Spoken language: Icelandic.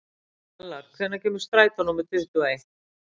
Kjalar, hvenær kemur strætó númer tuttugu og eitt?